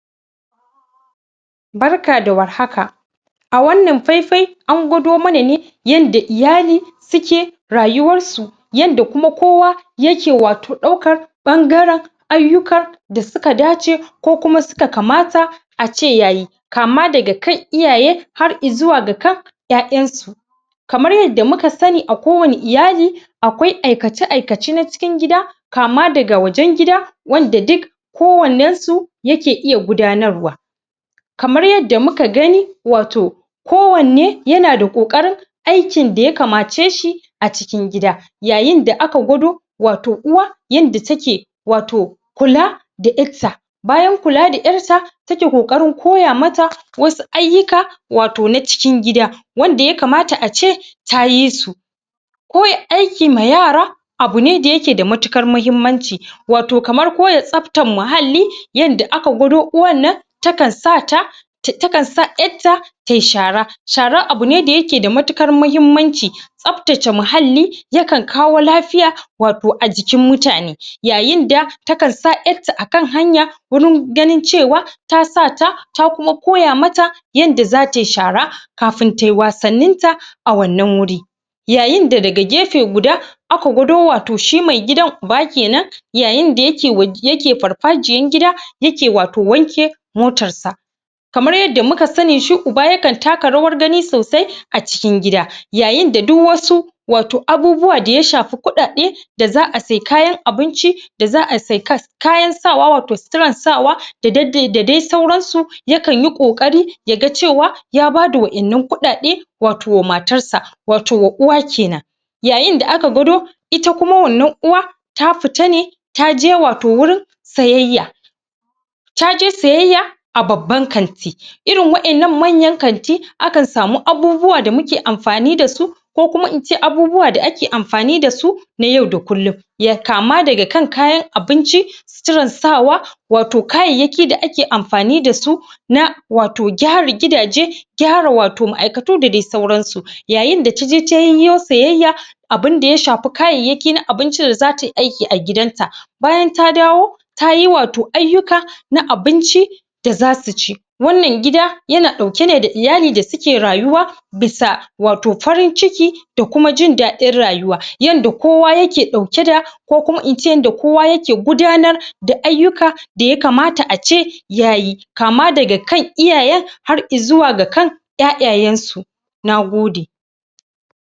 Barka da war haka a wannan faifai, an gwado mana ne yanda iyali suke rayuwar su yanda kuma kowa ya ke wato daukar ɓangaren ayyuka da suka dace ko kuma suka kamata ace yayi kama daga kan iya har izuwa ga kan ƴaƴan su kamar yadda muka sani a kowani iyali akwai aikace aikace na cikin gida kama daga wajen gida wanda duk kowannen su yake iya gudanarwa kamar yadda muka gani wato kowanne yanada kokarin aikin da ya kamace shi a cikin gida yayin da aka gwado wato uwa yanda take wato kula da ƴar'ta bayan kula da ƴar'ta take ƙoƙarin koya mata wasu ayyuka wato na cikin gida gida wanda ya kama ace tayi yi su koya aiki ma yara aiki ma yara abu ne da yake da matuƙar mahimmanci wato kamar koya tsabtan mahalli yanda aka gwado uwan nan takan sa ta takan sa ƴar'ta tayi shara shara abu ne da yake da matuƙar mahimmanci tsabtace mahalli yakan kawo lafiya wato ajikin mutane yayin da takan sa ƴar'ta akan hanya gurin ganin cewa tasa ta ta kuma koya mata yarda za tayi shara kafin tayi wasannin ta a wannan wurin yayin da daga gefe guda aka gwado wato shi mai gidan uba kenan yayin da yake yake farfajiyan gida yake wato wanke mtotar sa matarkamar yadda muka sani shi uba yakan taka rawar gani sosai a cikin gida yayin da duk wasu abubuwa daya shafi kuɗaɗe da za'a sai kayan abinci da za'a sai kayan sawa wato suturan sawa da da dai sauran su ya kan yi kokari ya ga cewa ya bada Waɗannan kuɗaɗe wato wa matarsa wato wa uwa kenan yayin da aka gwado ita kuma wannan uwan ta fita ne taje wato wurin sayayya taje sayyaya a babban kanti irin wa'yannan manyan kanti akan samu abubuwa da muke anfani da su ko kuma ince abubuwa da ake anfani da su na yau da kullun kama daga kan kayan abinci suturan sawa wato kayayyaki da ake anfani da su na wato gyara gidaje gyara wato ma'aikatu da dai sauransu yayin da taje ta yiwu sayayya abin da ya shafi kayayyakin abinci da zata yi aiki a gidan ta. bayan ta dawo tayi wato ayyuka na abinci da za su ci wannan gida yana ɗauke ne da iyali da suke rayuwa wannan gida bisa bywato farin ciki da kuma jin daɗin rayuwa yanda kowa yake dauke da ko kuma ince yanda ince yanda kowa yake gudanar ayyuka da yakamata ace yayi kama daga kan iyayen har izuwa ga kan ƴaƴa yansu. Nagode